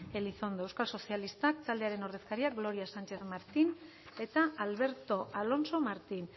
elizondo euskal sozialistak taldearen ordezkariak gloria sánchez martín eta alberto alonso martín